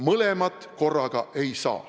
Mõlemat korraga ei saa.